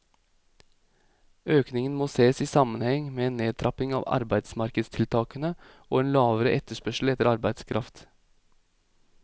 Økningen må ses i sammenheng med en nedtrapping av arbeidsmarkedstiltakene og en lavere etterspørsel etter arbeidskraft.